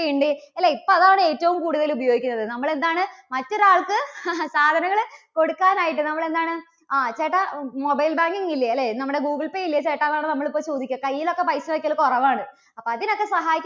പേ ഉണ്ട്. അല്ലേ ഇപ്പോൾ അതാണ് ഏറ്റവും കൂടുതൽ ഉപയോഗിക്കുന്നത്. നമ്മൾ എന്താണ് മറ്റൊരാൾക്ക് സാധനങ്ങള് കൊടുക്കാൻ ആയിട്ട്, നമ്മള് എന്താണ് ആ ചേട്ടാ mobile banking ഇല്ലേ? അല്ലേ നമ്മുടെ ഗൂഗിൾ പേ ഇല്ലേ ചേട്ടാ? നമ്മളിപ്പം ചോദിക്കുക കയ്യിൽ ഒക്കെ പൈസ വയ്ക്കൽ കുറവാണ്. അപ്പോ അതിനൊക്കെ സഹായിക്കുന്നത്